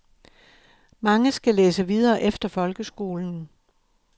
Mange skal læse videre efter folkeskolen.